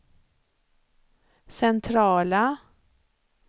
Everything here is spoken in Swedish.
centrala